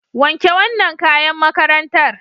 Wanke wannan kayan makarntar.